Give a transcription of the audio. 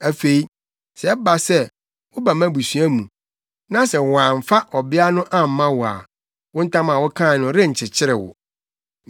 Afei, sɛ ɛba sɛ, woba mʼabusua mu, na sɛ wɔamfa ɔbea no amma wo a, wo ntam a wokae no renkyekyere wo.’